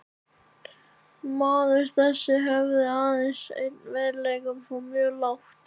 Maður þessi hafði aðeins einn veikleika og fór mjög lágt.